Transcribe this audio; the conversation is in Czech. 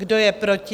Kdo je proti?